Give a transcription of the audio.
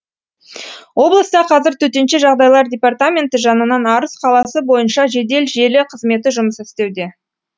облыста қазір төтенше жағдайлар департаменті жанынан арыс қаласы бойынша жедел желі қызметі жұмыс істеуде